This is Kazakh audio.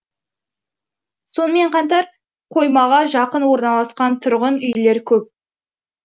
сонымен қатар қоймаға жақын орналасқан тұрғын үйлер көп